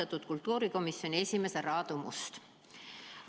Austatud kultuurikomisjoni esimees härra Aadu Must!